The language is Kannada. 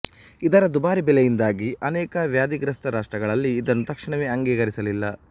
ಇದರ ದುಬಾರಿ ಬೆಲೆಯಿಂದಾಗಿ ಅನೇಕ ವ್ಯಾಧಿಗ್ರಸ್ಥ ರಾಷ್ಟ್ರಗಳಲ್ಲಿ ಇದನ್ನು ತಕ್ಷಣವೇ ಅಂಗೀಕರಿಸಲಿಲ್ಲ